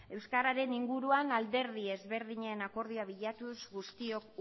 euskararen inguruan alderdi ezberdinen akordioa bilatuz guztiok